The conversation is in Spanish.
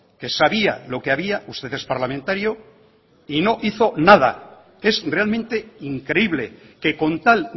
que sabía lo que había usted es parlamentario y no hizo nada es realmente increíble que con tal